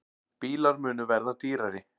Bílar munu verða dýrari